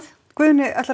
Guðni